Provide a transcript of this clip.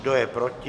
Kdo je proti?